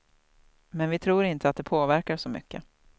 Men vi tror inte att det påverkar så mycket.